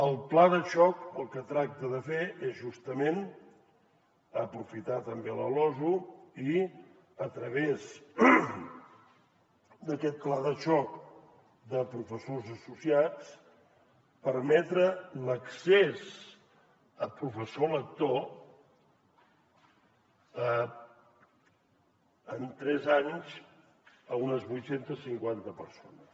el pla de xoc el que tracta de fer és justament aprofitar també la losu i a través d’aquest pla de xoc de professors associats permetre l’accés a professor lector en tres anys unes vuit cents i cinquanta persones